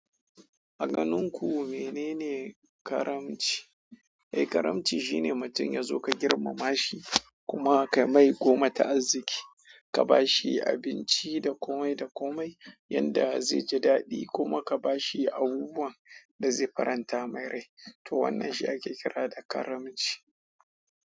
A ganin ku menene karamci? Eh, karamci shine mutum ya zo ka girmama shi kuma ka mai goma ta arziki, ka ba shi abinci da komai da komai yanda zai ji daɗi kuma ka ba shi abubuwan da zai faranta mai rai to wannan shi ake kira da karamci.